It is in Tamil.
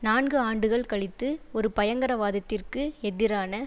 நான்கு ஆண்டுகள் கழித்து ஒரு பயங்கரவாதத்திற்கு எதிரான